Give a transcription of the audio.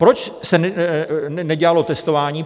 Proč se nedělalo testování?